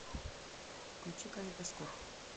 включи калейдоскоп